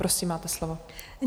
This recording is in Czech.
Prosím, máte slovo.